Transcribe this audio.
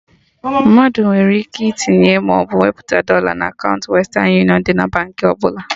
Mmadụ nwere ike itinye maọbụ wepụta dọla na kaụnta Western union dị na Baankị ọbụla